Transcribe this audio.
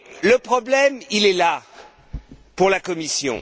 Le problème est là, pour la Commission.